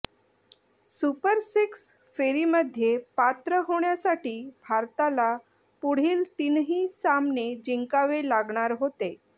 super six फेरीमध्ये पात्र होण्यासाठी भारताला पुढील तीनही सामने जिंकावे लागणार होते